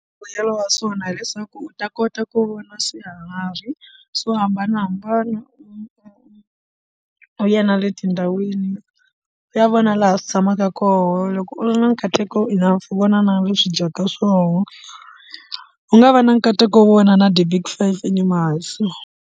Mbuyelo wa swona hileswaku u ta kota ku vona swiharhi swo hambanahambana u ya na le tindhawini ya vona laha swi tshamaka kona loko u ri na nkateko u na vona na leswi dyaka swona u nga va na nkateko wo vona na ti-big five animals.